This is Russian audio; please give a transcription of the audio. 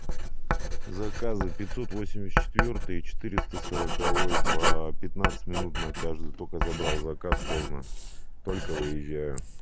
заказы пятьсот восемьдесят четвёртый и четыреста сороковой по пятнадцать минут на каждую только забрал заказ поздно только выезжаю